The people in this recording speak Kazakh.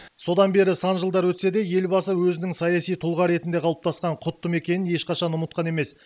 содан бері сан жылдар өтсе де елбасы өзінің саяси тұлға ретінде қалыптасқан құтты мекенін ешқашан ұмытқан емес